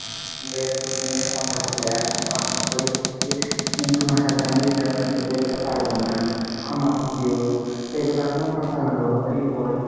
বেশ দুতিনদিন কথা বুললাম নিয়ে হটাৎ করে বুলছে জি উম তোমার সাথে আমি relationship এ যেতে পারবো না, ক্ষমা কর দিও, তো এগুলা কোনো কথা হলো তুই বল?